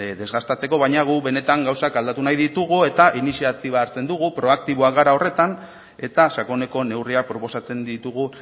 desgastatzeko baina gu benetan gauzak aldatu nahi ditugu eta iniziatiba hartzen dugu proaktiboak gara horretan eta sakoneko neurriak proposatzen ditugu